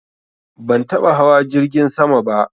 Ban taɓa hawa jirgin sama ba